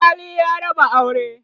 alkali ya raba auran